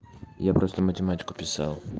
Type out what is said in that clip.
я просто математику писал